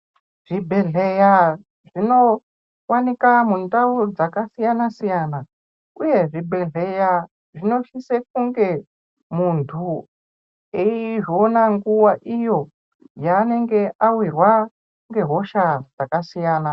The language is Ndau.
Zvibhedhleya zvinovanika mundau dzakasiyana-siyana, uye zvibhedhleya zvinosise kunge muntu eizviona nguva iyo yaanenge avirwwa ngehosha dzakasiyana.